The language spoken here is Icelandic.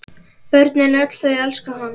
Börnin öll þau elska hann.